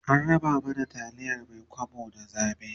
an raba mana taliyar Mai kwabo da zabe